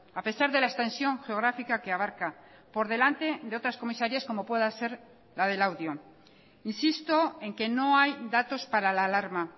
a pesar de la extensión geográfica que abarca por delante de otras comisarías como pueda ser la de laudio insisto en que no hay datos para la alarma